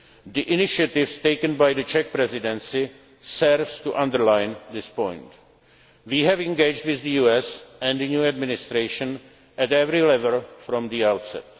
the relationship. The initiatives taken by the Czech Presidency serve to underline this point. We have engaged with the US, and the new Administration, at every level